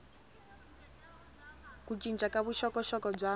ku cinca ka vuxokoxoko bya